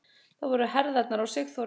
Það voru herðarnar á Sigþóru.